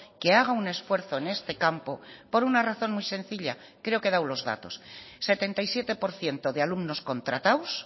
que haga un esfuerzo en este campo por una razón muy sencilla creo que he dado los datos setenta y siete por ciento de alumnos contratados